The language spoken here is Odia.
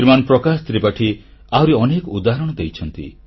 ଶ୍ରୀମାନ ପ୍ରକାଶ ତ୍ରିପାଠୀ ଆହୁରି ଅନେକ ଉଦାହରଣ ଦେଇଛନ୍ତି